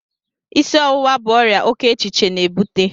Isi ọwụwa bu ọrịa oke echiche na-ebute